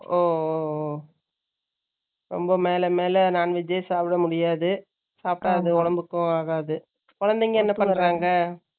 ஓ ரொம்ப மேல, மேல, non veg ஏ சாப்பிட முடியாது. சாப்பிட்டா, அது, உடம்புக்கும் ஆகாது. குழந்தைங்க, என்ன பண்றாங்க?